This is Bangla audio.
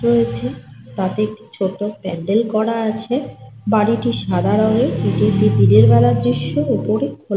রয়েছে। তাতে একটি ছোট পান্ডেল করা আছে। বাড়িটি সাদা রঙের । এটি একটি দিনের বেলার দৃশ্য়। উপরে খোলা --